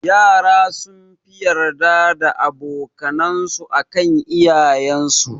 Yara sunfi yarda da aboka nan su akan iyayen su